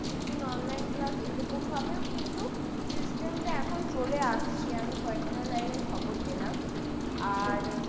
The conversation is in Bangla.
দু'দিন online class এইরকম ভাবেও কিন্তু system টা এখন চলে আসছে আমি কয়েকটা জায়গায় খবর পেলাম আর;